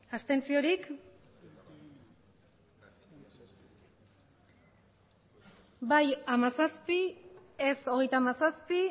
abstentzioak bai hamazazpi ez hogeita hamazazpi